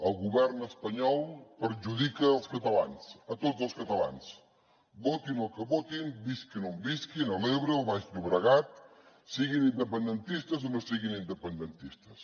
el govern espanyol perjudica els catalans a tots els catalans votin el que votin visquin on visquin a l’ebre o al baix llobregat siguin independentistes o no siguin independentistes